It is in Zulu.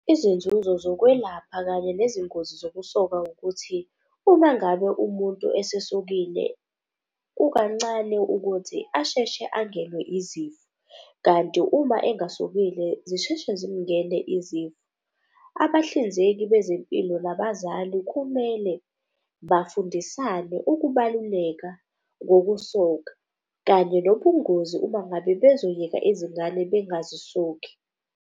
Izinzuzo zokwelapha kanye nezingozi zokusoka ukuthi uma ngabe umuntu esesokile kukancane ukuthi asheshe angenwe izifo kanti uma engasokile zisheshe zimngene izifo. Abahlinzeki bezempilo nabazali kumele bafundisane ukubaluleka, bokusoka kanye nobungozi uma ngabe bezoyeka izingane bengazisoki.